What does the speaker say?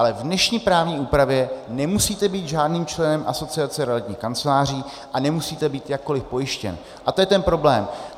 Ale v dnešní právní úpravě nemusíte být žádným členem Asociace realitních kanceláří a nemusíte být jakkoliv pojištěn a to je ten problém.